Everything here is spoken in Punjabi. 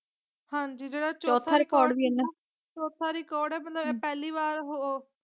ਹਾਂਜੀ ਜੇੜਾ ਚੌਥਾ ਰਿਕੋਰਡ ਇਨ ਚੌਥਾ ਰਿਕੋਰਡ ਹੈ ਮਤਲਬ ਪਹਿਲੀ ਵਾਰ ਹੂ।